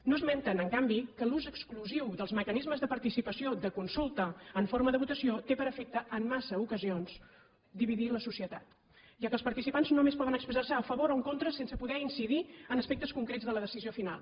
no esmenten en canvi que l’ús exclusiu dels mecanismes de participació de consulta en forma de votació té per efecte en massa ocasions dividir la socie tat ja que els participants només poden expressar se a favor o en contra sense poder incidir en aspectes concrets de la decisió final